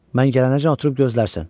Mən gələnəcən oturub gözlərsən.